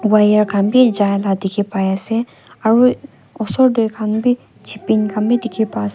wire khan bi ja la dikhi pai ase aru osor te khan bi chipping khan bi dikhi pa ase.